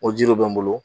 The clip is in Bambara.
O jiriw bɛ n bolo